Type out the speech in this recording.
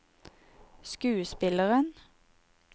skuespilleren